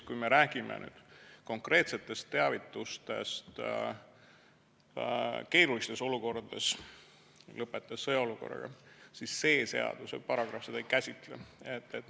Kui me räägime konkreetsetest teavitustest keerulistes olukordades, lõpetades sõjaolukorraga, siis see seaduse paragrahv seda ei käsitle.